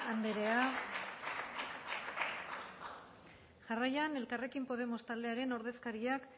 anderea jarraian elkarrekin podemos taldearen ordezkariak